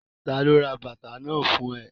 Ta ló ra bàtà náà fún ẹ?